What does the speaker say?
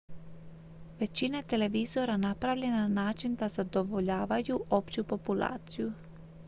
većina je televizora napravljena na način da zadovoljavaju opću populaciju